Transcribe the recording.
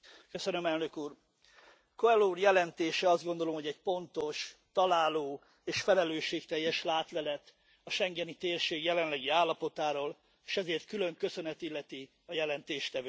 Elnök Úr, Coelho úr jelentése, azt gondolom, hogy egy pontos, találó és felelősségteljes látlelet a schengeni térség jelenlegi állapotáról, és ezért külön köszönet illeti a jelentéstevőt.